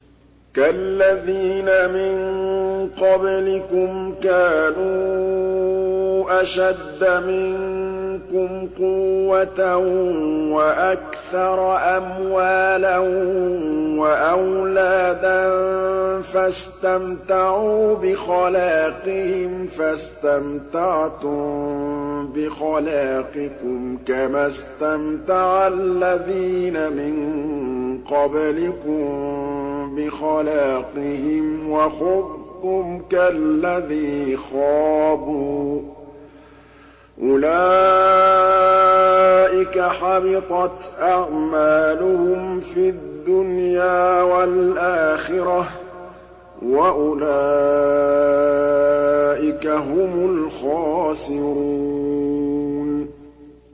كَالَّذِينَ مِن قَبْلِكُمْ كَانُوا أَشَدَّ مِنكُمْ قُوَّةً وَأَكْثَرَ أَمْوَالًا وَأَوْلَادًا فَاسْتَمْتَعُوا بِخَلَاقِهِمْ فَاسْتَمْتَعْتُم بِخَلَاقِكُمْ كَمَا اسْتَمْتَعَ الَّذِينَ مِن قَبْلِكُم بِخَلَاقِهِمْ وَخُضْتُمْ كَالَّذِي خَاضُوا ۚ أُولَٰئِكَ حَبِطَتْ أَعْمَالُهُمْ فِي الدُّنْيَا وَالْآخِرَةِ ۖ وَأُولَٰئِكَ هُمُ الْخَاسِرُونَ